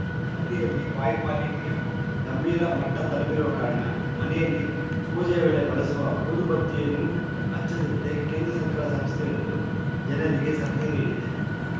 ದೆಹಲಿಯಲ್ಲಿ ವಾಯುಮಾಲಿನ್ಯ ಗಂಭೀರ ಮಟ್ಟತಲುಪಿರುವ ಕಾರಣ ಮನೆಯಲ್ಲಿ ಪೂಜೆಯ ವೇಳೆ ಬಳಸುವ ಊದುಬತ್ತಿಯನ್ನೂ ಹಚ್ಚಿದಂತೆ ಕೇಂದ್ರ ಸರ್ಕಾರದ ಸಂಸ್ಥೆಯೊಂದು ಜನರಿಗೆ ಸಲಹೆ ನೀಡಿದೆ